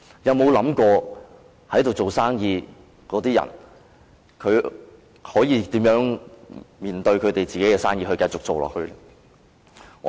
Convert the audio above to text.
有否想過在那裏做生意的人可以如何面對自己那盤生意，並繼續做下去？